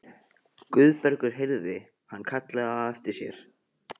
Guðbergur heyrði hann kallað á eftir sér.